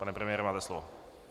Pane premiére, máte slovo.